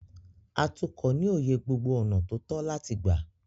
Atukọ̀ ní òye gbogbo ọ̀nà tó tọ́ láti gbà.